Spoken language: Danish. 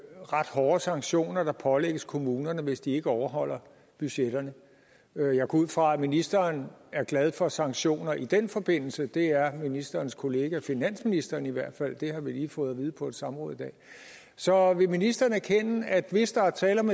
ret hårde sanktioner der pålægges kommunerne hvis de ikke overholder budgetterne jeg går ud fra at ministeren er glad for sanktioner i den forbindelse det er ministerens kollega finansministeren i hvert fald det har vi lige fået at vide på et samråd i dag så vil ministeren erkende at hvis der er tale om